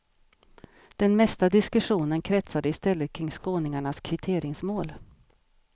Den mesta diskussionen kretsade istället kring skåningarnas kvitteringsmål.